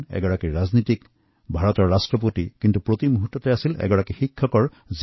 তেওঁ আছিল এজন বিদ্বান ৰাজনীতিক ভাৰতৰ ৰাষ্ট্ৰপতি কিন্তু সকলোতকৈ আগত তেওঁ এজন শিক্ষক